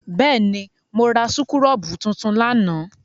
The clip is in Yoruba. Bẹ́ẹ̀ ni, mo ra súkúrọ́bù tuntun lánàá.